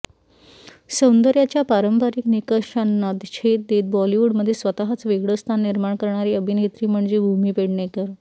सौंदर्याच्या पारंपरिक निकषांना छेद देत बॉलिवूडमध्ये स्वतःच वेगळं स्थान निर्माण करणारी अभिनेत्री म्हणजे भूमी पेडणेकर